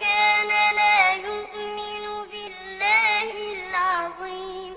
كَانَ لَا يُؤْمِنُ بِاللَّهِ الْعَظِيمِ